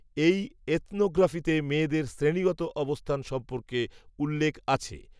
এই, এথনো গ্র্যাফিতে মেয়েদের শ্রেণিগত অবস্থান সম্পর্কে, উল্লেখ, আছে